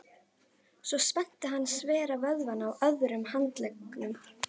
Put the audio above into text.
Svo spennti hann svera vöðvana á öðrum handleggnum.